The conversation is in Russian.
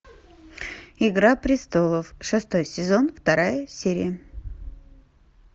игра престолов шестой сезон вторая серия